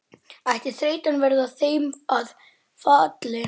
Inga, endurtekur hún íhugandi eftir nokkra þögn.